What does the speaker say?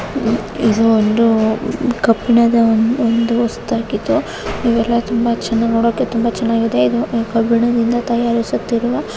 ಇದು ಒಂದು ಕಬ್ಬಿಣದ ಒಂದು ವಸ್ತುವಾಗಿದ್ದು ಇವೆಲ್ಲ ತುಂಬಾ ಚಂದ ನೋಡೋಕೆ ತುಂಬಾ ಚನಾಗಿವೆ ಇದು ಕಬ್ಬಿಣದಿಂದ ತಯಾರಿಸುತ್ತಿರುವ --